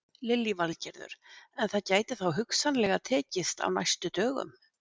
Lillý Valgerður: En það gæti þá hugsanlega tekist á næstu dögum?